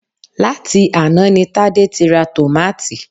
Láti àná ni Tádé ti ra tòmátì